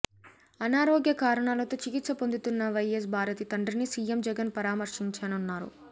అనారోగ్య కారణాలతో చికిత్స పొందుతున్న వైఎస్ భారతి తండ్రిని సీఎం జగన్ పరామర్శించనున్నారు